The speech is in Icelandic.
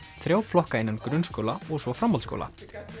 þrjá flokka innan grunnskóla og svo framhaldsskóla